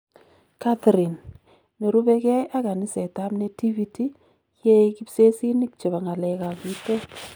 Catherine, nerube kee ak kanisetab Nativity yee kibsesinik chebo ng'alek ab bitoon